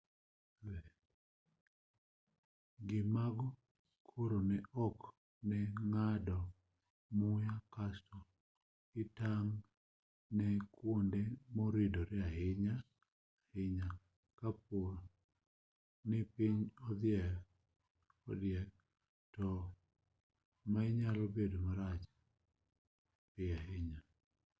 gi mago koro ikri ne ng'ado muya kaeto itang' ne kuonde moridre ahinya ahinya kaponi piny odhiek ni mar onyalo bedo marach piyo ahinya